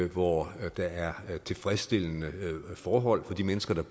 hvor der er tilfredsstillende forhold for de mennesker